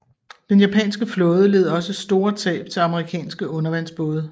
Den japanske flåde led også store tab til amerikanske undervandsbåde